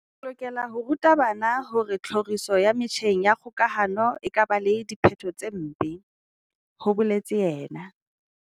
"Re lokela ho ruta bana hore tlhoriso ya metjheng ya kgo kahano e ka ba le diphetho tse mpe," ho boletse yena.